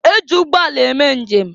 E ji ụgbọala eme njem.